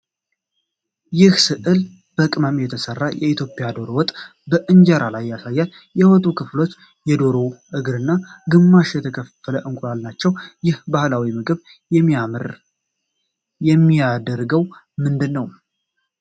ይህ ሥዕል በቅመም የተሠራ የኢትዮጵያ ዶሮ ወጥ በኢንጀራ ላይ ያሳያል። የወጡ ክፍሎች የዶሮ እግርና ግማሽ የተከፈለ እንቁላል ናቸው። ይህን ባህላዊ ምግብ የሚያምር የሚያደርገው ምንድን ነው?